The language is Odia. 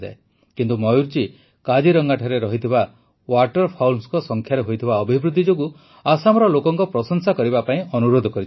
କିନ୍ତୁ ମୟୂର ଜୀ କାଜିରଙ୍ଗାଠାରେ ରହିଥିବା ୱାଟରଫାଉଲ୍ସ ସଂଖ୍ୟାରେ ହୋଇଥିବା ଅଭିବୃଦ୍ଧି ଯୋଗୁଁ ଆସାମର ଲୋକଙ୍କ ପ୍ରଶଂସା କରିବା ପାଇଁ ଅନୁରୋଧ କରିଛନ୍ତି